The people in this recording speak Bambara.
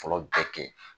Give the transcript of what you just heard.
Fɔlɔ bɛɛ kɛ